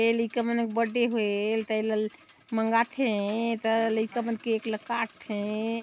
ये लइका मन क बर्थडे हे ता एला मांगाथे ता लइका मन केक ला काटथे।